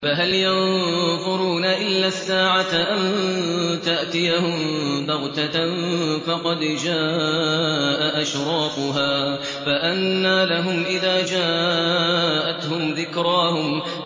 فَهَلْ يَنظُرُونَ إِلَّا السَّاعَةَ أَن تَأْتِيَهُم بَغْتَةً ۖ فَقَدْ جَاءَ أَشْرَاطُهَا ۚ فَأَنَّىٰ لَهُمْ إِذَا جَاءَتْهُمْ ذِكْرَاهُمْ